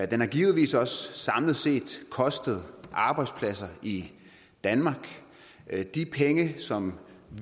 den har givetvis også samlet set kostet arbejdspladser i danmark de penge som